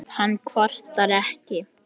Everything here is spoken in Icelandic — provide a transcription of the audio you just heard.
Hann kvartar ekki.